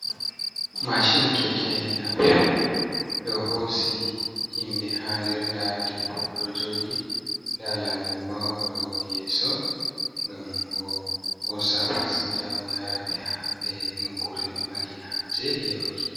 Mashin keke na pep ɗo hosi himɓɓe ha nder, nda debbo oɗo joɗi nda lanyoo oɗo yeso ngam o hosa pasinja o yara ɓe ha ɓe nokkure ɓe mari haje yahuki.